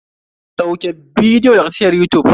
Sauke bidiyo daga tashar yutub.